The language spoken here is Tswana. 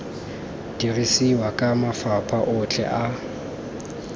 dirisiwa ke mafapha otlhe a